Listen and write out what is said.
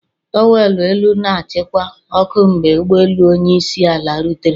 Towerlọ elu na-achịkwa ọkụ mgbe ụgbọelu onye isi ala rutere.